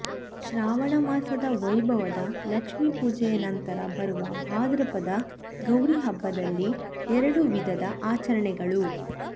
ಶ್ರಾವಣಮಾಸದ ವೈಭವದ ಲಕ್ಷ್ಮೀಪೂಜೆಯ ನಂತರ ಬರುವ ಭಾದ್ರಪದದ ಗೌರೀಹಬ್ಬದಲ್ಲಿ ಎರಡು ವಿಧದ ಆಚರಣೆಗಳು